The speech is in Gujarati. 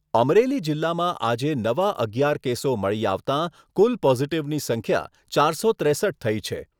અમરેલી જીલ્લામાં આજે નવા અગિયાર કેસો મળી આવતાં કુલ પોઝીટીવની સંખ્યા ચારસો ત્રેસઠ થઈ છે.